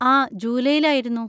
ആ, ജൂലൈയിൽ ആയിരുന്നു.